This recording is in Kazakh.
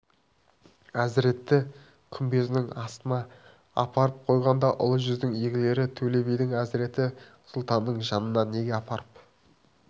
әзіреті күмбезінің астына апарып қойғанда ұлы жүздің игілері төле биді әзіреті сұлтанның жанына неге апарып